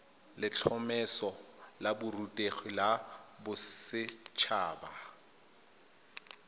letlhomeso la borutegi la boset